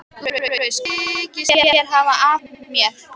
LÁRUS: Hvað þykist þér hafa afhent mér?